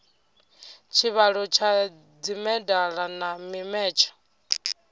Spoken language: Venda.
tshivhalo tsha dzimedala na mimetshe